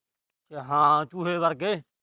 ਹਾਂ, ਚੂਹੇ ਵਰਗੇ।